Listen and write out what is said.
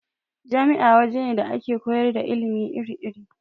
Jami'a waje ne da ake koyar da ilimi iri-iri.